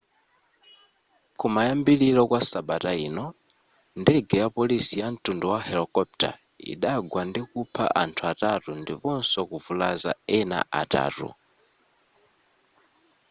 kumayambiliro kwa sabata ino ndege ya polisi yamtundu wa helokopitala idagwa ndikupha anthu atatu ndiponso kuvulaza ena atatu